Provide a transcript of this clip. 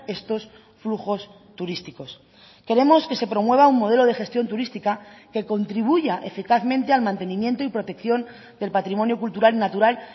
estos flujos turísticos queremos que se promueva un modelo de gestión turística que contribuya eficazmente al mantenimiento y protección del patrimonio cultural y natural